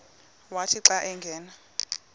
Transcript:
wathi xa angena